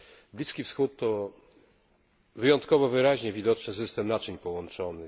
Bliski Wschód to wyjątkowo wyraźnie widoczny system naczyń połączonych.